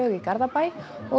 í Garðabæ